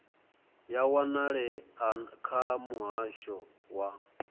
ya wanalea kha muhasho wa